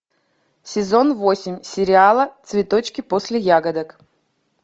сезон восемь сериала цветочки после ягодок